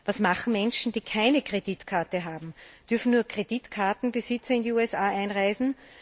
Was machen Menschen, die keine Kreditkarte haben? Dürfen nur Kreditkartenbesitzer in die USA einreisen?